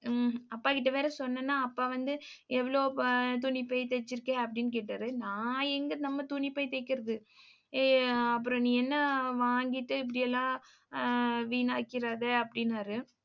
உம் அப்பாகிட்ட வேற சொன்னேன்னா அப்பா வந்து எவ்வளவு துணிப்பை தெச்சிருக்கே அப்படீன்னு கேட்டாரு நான் எங்க நம்ம துணிப்பை தைக்கிறது. அஹ் அப்புறம் நீ என்ன வாங்கிட்டு, இப்படி எல்லாம் ஆஹ் வீணாக்கிறாதே அப்படின்னாரு.